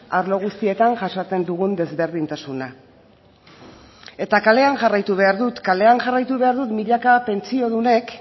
arlo guztietan jasaten dugun desberdintasuna eta kalean jarraitu behar dut kalean jarraitu behar dut milaka pentsiodunek